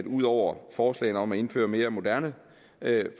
ud over forslagene om at indføre mere moderne